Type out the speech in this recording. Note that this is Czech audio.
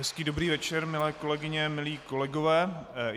Hezký, dobrý večer, milé kolegyně, milí kolegové.